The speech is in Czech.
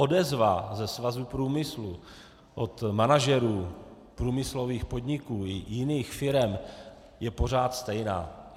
Odezva ze svazu průmyslu, od manažerů průmyslových podniku i jiných firem, je pořád stejná.